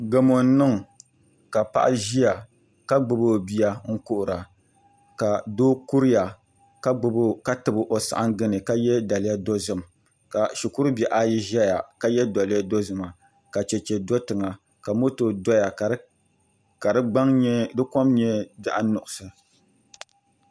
Gamo n niŋ ka paɣa ʒiya ka gbubi o bia n kuhura ka doo kuriya ka tabi o saɣangi ni ka yɛ daliya dozim ka shikuru bihi ayi ʒɛya ka yɛ daliya dozima ka chɛchɛ do tiŋa ka moto doya ka di kom nyɛ zaɣ nuɣso